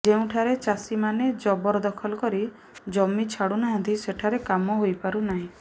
ଯେଉଁଠାରେ ଚାଷୀମାନେ ଜବର ଦଖଲ କରି ଜମି ଛାଡ଼ୁ ନାହାଁନ୍ତି ସେଠାର କାମ ହୋଇପାରୁ ନାହିଁ